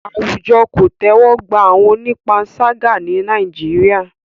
Àwùjọ kò tẹ́wọ́ gba àwọn onípanṣágà ní Nàìjíríà.